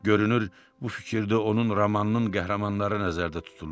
Görünür, bu fikirdə onun romanının qəhrəmanları nəzərdə tutulurdu.